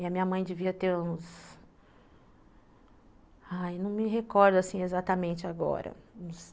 E a minha mãe devia ter uns... Ai, não me recordo, assim, exatamente agora.